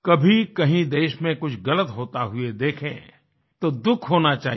कभी कहीं देश में कुछ ग़लत होता हुए देखें तो दुःख होना चाहिए